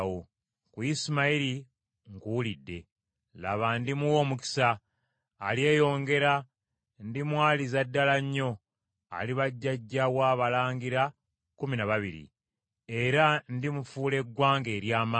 Ku Isimayiri nkuwulidde: Laba, ndimuwa omukisa, alyeyongera, ndimwaliza ddala nnyo, aliba jjajja w’abalangira kkumi na babiri, era ndimufuula eggwanga ery’amaanyi.